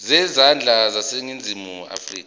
zezandla zaseningizimu afrika